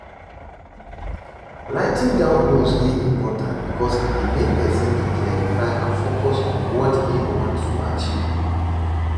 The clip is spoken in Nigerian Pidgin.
Writing down goals dey important because e dey make pesin to clarify and focus on what im want to achieve.